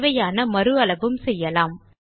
தேவையான மறு அளவும் செய்யலாம்